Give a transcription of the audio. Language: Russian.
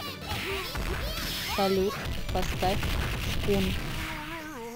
салют поставь шкун